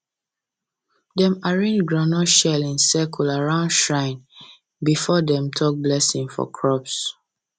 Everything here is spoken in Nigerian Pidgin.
dem arrange groundnut shell in circle around shrine before dem talk blessing for crops